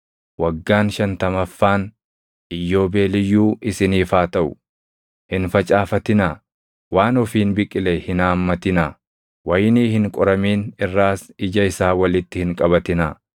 Waggaan shantamaffaan iyyoobeeliyyuu isiniif haa taʼu; hin facaafatinaa; waan ofiin biqile hin haammatinaa; wayinii hin qoramin irraas ija isaa walitti hin qabatinaa.